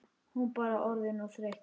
Hún bara orðin of þreytt.